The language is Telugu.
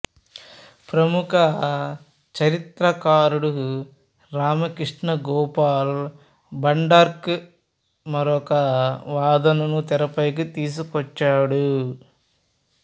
ప్రముఖ చరిత్రకారుడు రామకృష్ణ గోపాల్ భండార్కర్ మరొక వాదనను తెరపైకి తీసుకొచ్చాడు